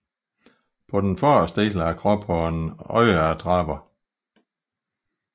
På den forreste del af kroppen har den øjeattrapper